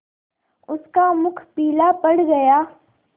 उसका मुख पीला पड़ गया